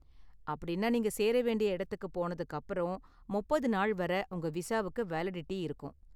அப்படின்னா நீங்க சேர வேண்டிய இடத்துக்கு போனதுக்கு அப்பறம் முப்பது நாள் வரை உங்க விசாவுக்கு வேலிடிட்டி இருக்கும்.